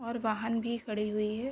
और वाहन भी खड़ी हुई है।